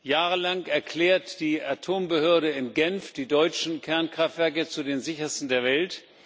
Jahrelang erklärt die Atombehörde in Genf die deutschen Kernkraftwerke zu den sichersten der Welt.